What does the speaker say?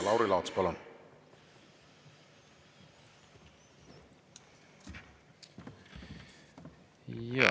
Lauri Laats, palun!